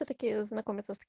знак